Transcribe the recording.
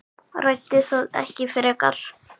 Ræddi það ekki frekar.